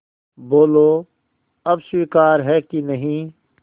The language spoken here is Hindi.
बोलो अब स्वीकार है कि नहीं